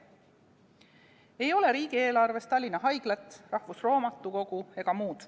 Ei ole riigieelarves Tallinna Haiglat, Eesti Rahvusraamatukogu ega muud.